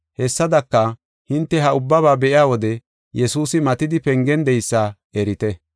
Hessadaka, hinte ha ubbaba be7iya wode Yesuusi matidi pengen de7eysa erite.